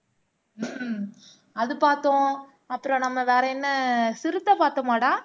அது பார்த்தோம் அப்புறம் நம்ம வேற என்ன சிறுத்தை பார்த்தோமாடா